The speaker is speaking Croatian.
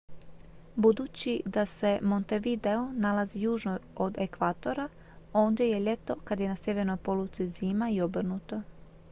budući da se montevideo nalazi južno od ekvatora ondje je ljeto kad je na sjevernoj poluci zima i obrnuto